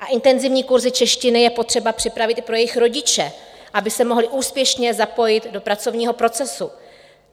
A intenzivní kurzy češtiny je potřeba připravit i pro jejich rodiče, aby se mohli úspěšně zapojit do pracovního procesu.